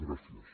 gràcies